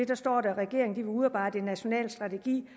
der står dér at regeringen vil udarbejde en national strategi